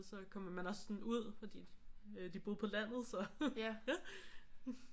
Så kommer man også sådan ud fordi de boede på landet så